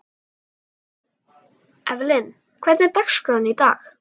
Evelyn, hvernig er dagskráin í dag?